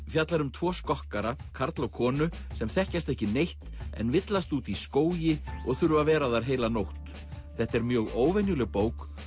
fjallar um tvo skokkara karl og konu sem þekkjast ekki neitt en villast úti í skógi og þurfa að vera þar heila nótt þetta er mjög óvenjuleg bók